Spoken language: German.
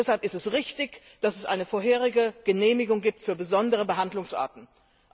Deshalb ist es richtig, dass es eine vorherige Genehmigung für besondere Behandlungsarten gibt.